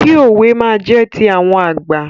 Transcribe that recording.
Kí òwe máa jẹ́ ti àwọn àgbà.